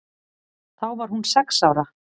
Þá var hún sex ára.